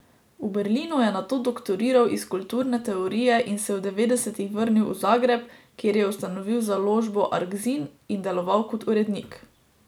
V Berlinu je nato doktoriral iz kulturne teorije in se v devetdesetih vrnil v Zagreb, kjer je ustanovil založbo Arkzin in deloval kot urednik.